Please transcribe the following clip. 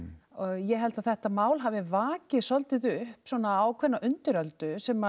ég held að þetta mál hafi vakið svolítið upp svona ákveðna undiröldu sem